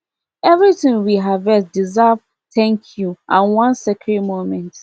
everything we harvest deserve thank you and one sacred moment